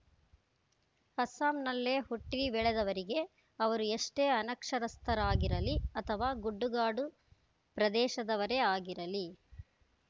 ಅಸ್ಸಾಂನಲ್ಲೇ ಹುಟ್ಟಿಬೆಳೆದವರಿಗೆ ಅವರು ಎಷ್ಟೇ ಅನಕ್ಷರಸ್ಥರಾಗಿರಲಿ ಅಥವಾ ಗುಡ್ಡಗಾಡು ಪ್ರದೇಶದವರೇ ಆಗಿರಲಿ